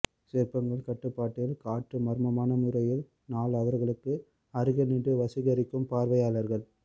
சிற்பங்கள் கட்டுப்பாட்டில் காற்று மர்மமான முறையில் நாள் அவர்களுக்கு அருகில் நின்று வசீகரிக்கும் பார்வையாளர்கள்